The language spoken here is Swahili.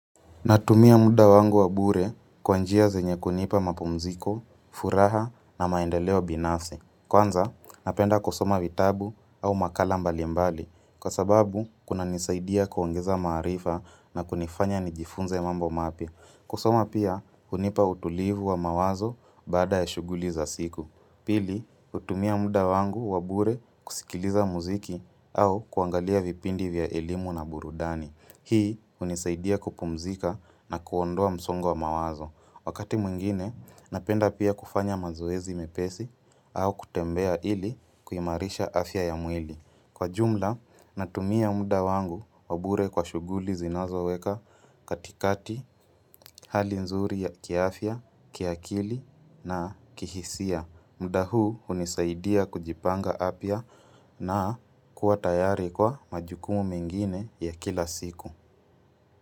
Natumia muda wangu wabure kwanjia zenye kunipa mapumziko, furaha na maendeleo binasfi Kwanza, napenda kusoma vitabu au makala mbali mbali. Kwa sababu, kuna nisaidia kuongeza maarifa na kunifanya nijifunze mambo mapia. Kusoma pia, unipa utulivu wa mawazo bada ya shuguli za siku. Pili, utumia muda wangu wabure kusikiliza muziki au kuangalia vipindi vya elimu na burudani. Hii unisaidia kupumzika na kuondoa msongo wa mawazo. Wakati mwingine, napenda pia kufanya mazuezi mepesi au kutembea ili kuimarisha afya ya mwili. Kwa jumla, natumia muda wangu wabure kwa shuguli zinazo weka katikati hali nzuri ya kiaafya, kiaakili na kihisia. Mda huu unisaidia kujipanga apya na kuatayari kwa majukumu mengine ya kila siku.